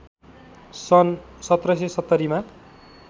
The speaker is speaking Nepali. सन् १७७० मा